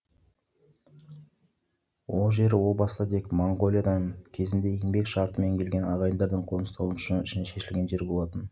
ол жер о баста тек қана моңғолиядан кезінде еңбек шартымен келген ағайындардың қоныстануы үшін шешілген жер болатын